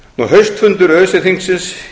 haustfundur öse þingsins